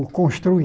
O